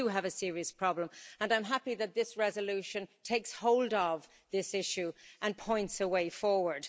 So we do have a serious problem and I'm happy that this resolution takes hold of this issue and points a way forward.